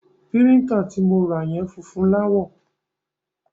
Píríńtà ti mo ra yẹn funfun láwọ̀.